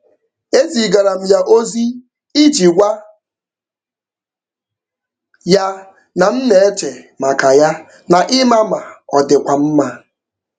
E zigaara m ya ozi iji gwa ya na m na-eche maka ya na ịma ma ọ dịkwa mma.